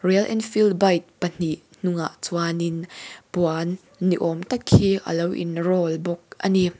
royal enfield bike pahnih hnungah chuan in puan ni awm tak hi alo in roll bawk a ni.